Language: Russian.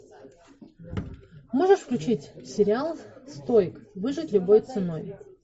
можешь включить сериал стоик выжить любой ценой